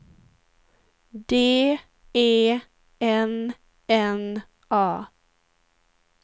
D E N N A